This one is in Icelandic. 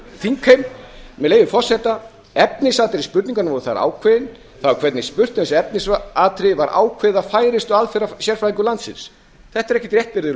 þingheim með leyfi forseta efnisatriði spurninganna voru þar ákveðin það hvernig spurt var um efnisatriði var ákveðið af færustu aðferðasérfærðingum landsins þetta er ekki rétt virðulegi